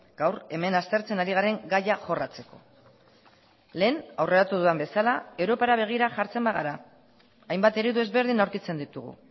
gaur hemen aztertzen ari garen gaia jorratzeko lehen aurreratu dudan bezala europara begira jartzen bagara hainbat eredu ezberdin aurkitzen ditugu